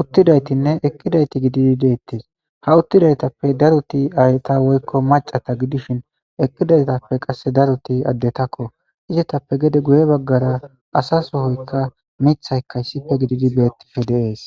uttidaytinne ekkidayti gididi deettes ha uttidaytappe daruti ayta woykko macata gidishin ekidaytappe qasse daruti addetakko izitappe gede guye baggara asa sohoykka mithayka issife gididi beettife deees